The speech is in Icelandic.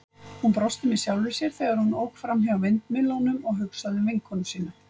Hún brosti með sjálfri sér, þegar hún ók framhjá vindmyllunum og hugsaði um vinkonu sína.